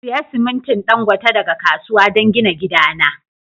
Siya siminti Dangote daga kasuwa don gina gidana.